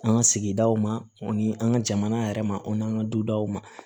An ka sigidaw ma ani an ka jamana yɛrɛ ma o n'an ka dudaw ma